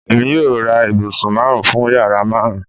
Emi yoo ra ibusun marun fun yara marun